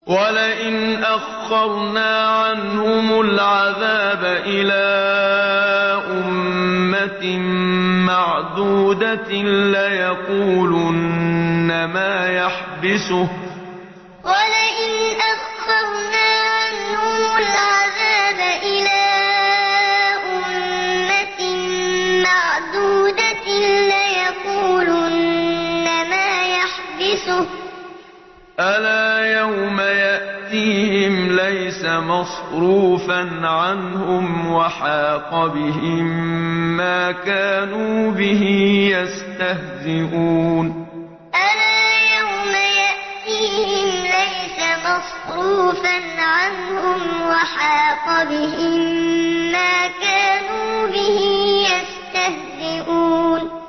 وَلَئِنْ أَخَّرْنَا عَنْهُمُ الْعَذَابَ إِلَىٰ أُمَّةٍ مَّعْدُودَةٍ لَّيَقُولُنَّ مَا يَحْبِسُهُ ۗ أَلَا يَوْمَ يَأْتِيهِمْ لَيْسَ مَصْرُوفًا عَنْهُمْ وَحَاقَ بِهِم مَّا كَانُوا بِهِ يَسْتَهْزِئُونَ وَلَئِنْ أَخَّرْنَا عَنْهُمُ الْعَذَابَ إِلَىٰ أُمَّةٍ مَّعْدُودَةٍ لَّيَقُولُنَّ مَا يَحْبِسُهُ ۗ أَلَا يَوْمَ يَأْتِيهِمْ لَيْسَ مَصْرُوفًا عَنْهُمْ وَحَاقَ بِهِم مَّا كَانُوا بِهِ يَسْتَهْزِئُونَ